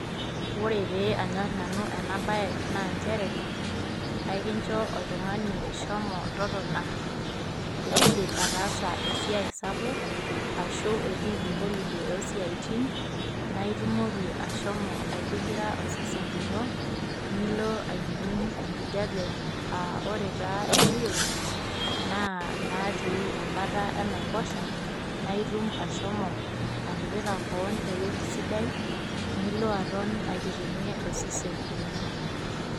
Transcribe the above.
Ore pee anyor nanu ena bae naa nchere , aikincho oltungani shomo totona tenidip ataasa esiai sapuk ashu etiiki holiday osiatin .Naa itumoki ashom oaitigira osesen lino, nilo aining enkijape , aa ore taa ene wueji naa inaatii embata enaiposha naa itum ashomo atipika kewon ewueji sidai nilo aton aitiringie osesen lino.